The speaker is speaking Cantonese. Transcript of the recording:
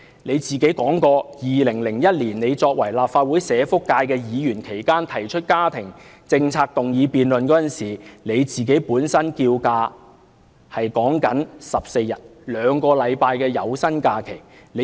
他曾經表示，在2001年作為立法會社福界的議員期間，他曾提出家庭政策議案辯論，要求侍產假14天，兩星期的有薪假期。